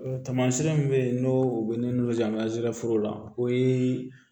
Tamasiyɛn min be yen n'o u be ne n'u jan ma zeforo la o ye